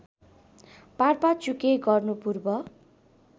पारपाचुके गर्नु पूर्व